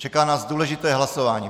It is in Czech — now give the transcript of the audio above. Čeká nás důležité hlasování.